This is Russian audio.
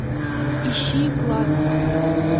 ищи клад